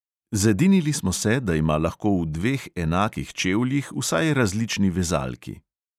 Zedinili smo se, da ima lahko v dveh enakih čevljih vsaj različni vezalki.